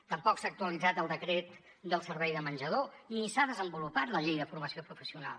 tampoc s’ha actualitzat el decret del servei de menjador ni s’ha desenvolupat la llei de formació professional